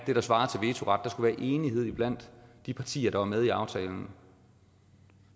det der svarer til vetoret der skulle være enighed blandt de partier der var med i aftalen